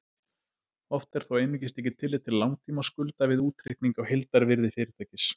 Oft er þó einungis tekið tillit til langtímaskulda við útreikning á heildarvirði fyrirtækis.